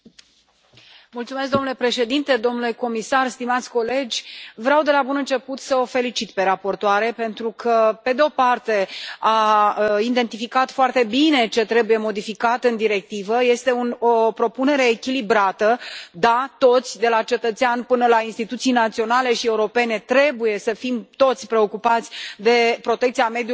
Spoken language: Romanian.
Domnule președinte, domnule comisar, stimați colegi, vreau de la bun început să o felicit pe raportoare, pentru că, pe de o parte, a identificat foarte bine ce trebuie modificat în directivă, este un o propunere echilibrată, da, toți, de la cetățean până la instituțiile naționale și europene, trebuie să fim preocupați de protecția mediului înconjurător.